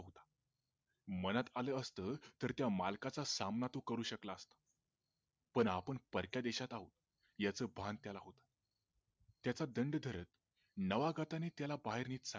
मनात आल असत तर त्या मालकाचा सामना तो करू शकला असता पण आपण परक्या देशात आहोत याच भान त्याला होत त्याचा दंड धरत नावागताने त्याला बाहेर घेतला